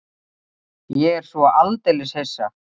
Ég er svo aldeilis hissa.